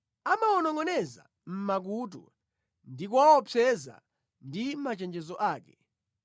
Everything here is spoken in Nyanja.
amawanongʼoneza mʼmakutu ndi kuwaopseza ndi machenjezo ake,